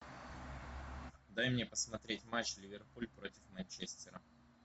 дай мне посмотреть матч ливерпуль против манчестера